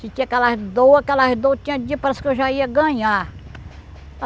Tinha aquelas dor, aquelas dor, tinha dia parece que eu já ia ganhar.